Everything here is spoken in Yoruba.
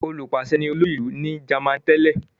Olùpàṣẹ ni olórí ìlú ní Jámánì tẹ́lẹ̀.